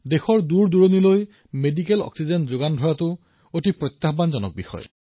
দেশৰ দূৰ দূৰণিলৈ চিকিৎসা অক্সিজেন প্ৰেৰণ কৰাটো এটা ডাঙৰ প্ৰত্যাহ্বান আছিল